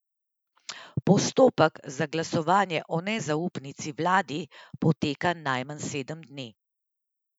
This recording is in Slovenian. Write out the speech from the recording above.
Postopek za glasovanje o nezaupnici vladi poteka najmanj sedem dni.